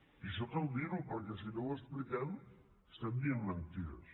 i això cal dir ho perquè si no ho expliquem estem dient mentides